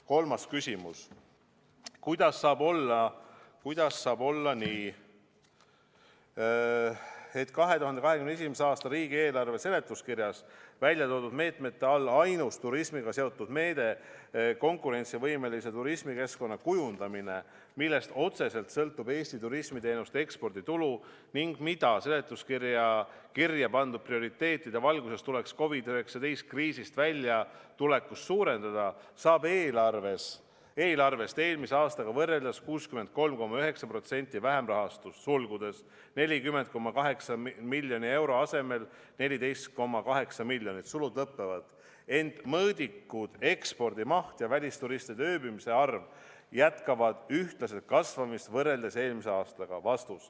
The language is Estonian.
Kolmas küsimus: "Kuidas saab olla nii, et 2021.a. riigieelarve seletuskirjas väljatoodud meetmete all ainus turismiga seotud meede "Konkurentsivõimelise turismikeskkonna kujundamine", millest otseselt sõltub Eesti turismiteenuste eksporditulu ning mida seletuskirja kirjapandud prioriteetide valguses tuleks COVID-19 kriisist väljatulekuks suurendada, saab eelarvest eelmise aastaga võrreldes 63,9% vähem rahastust , ent mõõdikud jätkavad ühtlaselt kasvamist võrreldes eelmiste aastatega.